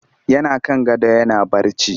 Yana kan gado yana barci